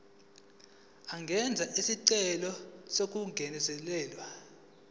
angenza isicelo sokungezelelwa